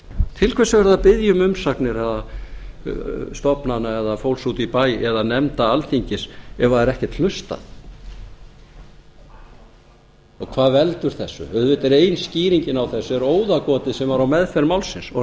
til hvers er verið að biðja um umsagnir stofnana eða fólks úti í bæ eða nefnda alþingis ef það er ekkert hlustað hvað veldur þessu auðvitað er ein skýringin á þessu óðagotið sem var á meðferð málsins